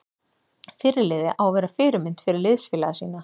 Fyrirliði á að vera fyrirmynd fyrir liðsfélaga sína.